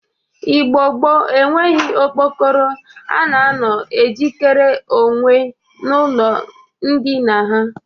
Igbo gboo eweghi okpokoro a na-anọ e jikere onwe n'ụlọ ndịna ha